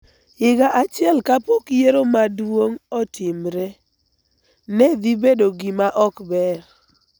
higa achiel kapok yiero maduong� otimre, ne dhi bedo gima ok ber.